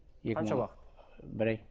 қанша уақыт бір ай